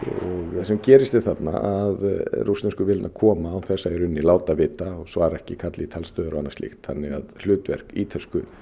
það sem gerist þarna að rússnesku vélarnar koma án þess að láta vita og svara ekki kalli í talstöðvar og annað slíkt þannig að hlutverk ítölsku